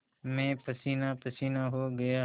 मैं पसीनापसीना हो गया